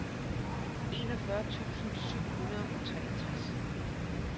enogfyrre tusind syv hundrede og treogtres